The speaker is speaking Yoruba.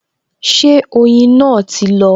Ṣé oyin náà ti lọ?